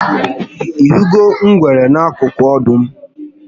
Ihụnụgo ngwere n'akụkụ ọdụm?